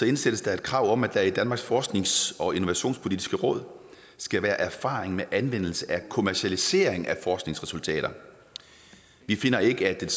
indsættes et krav om at der i danmarks forsknings og innovationspolitiske råd skal være erfaring med anvendelse af kommercialisering af forskningsresultater vi finder ikke at